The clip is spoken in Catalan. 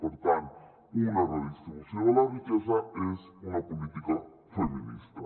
per tant una redistribució de la riquesa és una política feminista